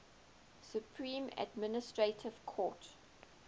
supreme administrative court